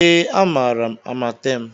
Ee, amaara m Amatem